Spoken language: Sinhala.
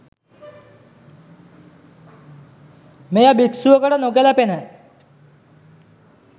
මෙය භික්‍ෂුවකට නොගැලපෙන